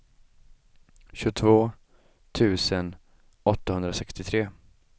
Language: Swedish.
tjugotvå tusen åttahundrasextiotre